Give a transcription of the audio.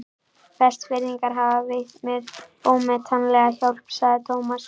Vestfirðingar hafa veitt mér ómetanlega hjálp sagði Thomas.